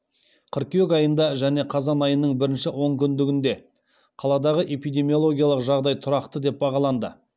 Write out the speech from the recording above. қыркүйек айында және қазан айының бірінші онкүндігінде қаладағы эпидемиологиялық жағдай тұрақты деп бағаланды